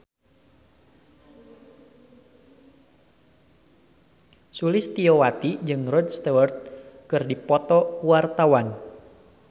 Sulistyowati jeung Rod Stewart keur dipoto ku wartawan